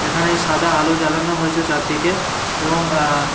এখানে সাদা আলো জ্বালানো হয়েছে চারদিকে এবং আহ--